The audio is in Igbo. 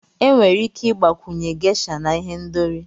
Enwere ike ịgbakwunye Gesha na ihendori.